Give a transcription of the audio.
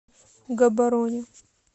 габороне